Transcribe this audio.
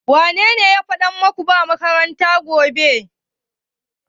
Wa ya gaya maku ba makaranta gobe?